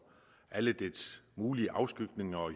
alle de mulige afskygninger